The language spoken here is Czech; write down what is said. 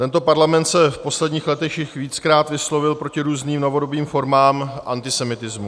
Tento parlament se v posledních letech již víckrát vyslovil proti různým novodobým formám antisemitismu.